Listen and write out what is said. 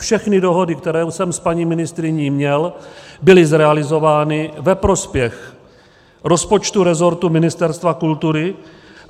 Všechny dohody, které jsem s paní ministryní měl, byly zrealizovány ve prospěch rozpočtu resortu Ministerstva kultury.